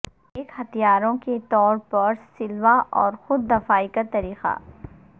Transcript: ایک ہتھیاروں کے طور پر سلوا اور خود دفاعی کا طریقہ